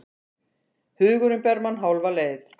Hugurinn ber mann hálfa leið.